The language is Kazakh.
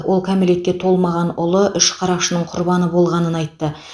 ол кәмелетке толмаған ұлы үш қарақшының құрбаны болғанын айтты